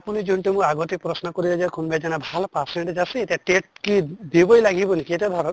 আপুনি যোনটো আগতে প্ৰশ্ণ কৰিলে যে কোনবা এজনা ভাল percentage আছে এতিয়া initial>TET কি দিবই লাগিব নেকি এতিয়া ভাৱক